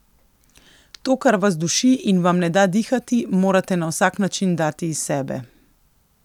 To kar vas duši in vam ne da dihati morate na vsak način dati iz sebe.